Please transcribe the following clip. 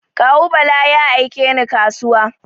Kawu Bala ya aike ni kasuwa.